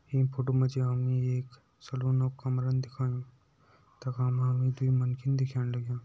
ईं फोटो मा जी हमे एक सलून कमरान दिखायुं तखा हमम दुई मन्खि दिखेण लग्यां।